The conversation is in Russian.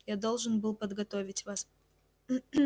я должен был подготовить вас